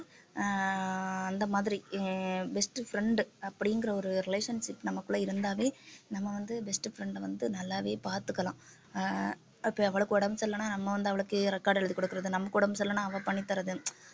ஆஹ் அந்த மாதிரி அஹ் best friend அப்படிங்கிற ஒரு relationship நமக்குள்ள இருந்தாவே நம்ம வந்து best friend அ வந்து நல்லாவே பாத்துக்கலாம் அஹ் அவளுக்கு உடம்பு சரியில்லைன்னா நம்ம வந்து அவளுக்கு record எழுதி கொடுக்கறது நமக்கு உடம்பு சரியில்லைன்னா அவ பண்ணித்தர்றது